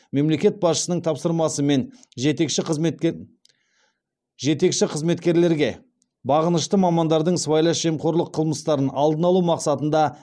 мемлекет басшысының тапсырмасымен жетекші қызметкерлерге бағынышты мамандардың сыбайлас жемқорлық қылмыстарын алдын алу мақсатында